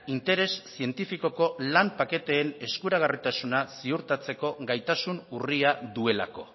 interes zientifikoko lan paketeen eskuragarritasuna ziurtatzeko gaitasun urria duelako